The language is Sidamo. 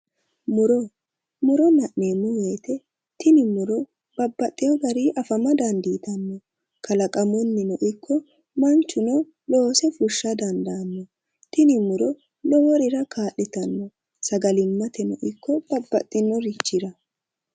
Muro muro la'neemmo woyte tini muro babbaxxeyo garii afama dandiitanno kalaqamunnino ikko manchu loose fushsha dandaanno tini muro loworira kaa'litanno sagalimmateno ikko babbaxxitinorichira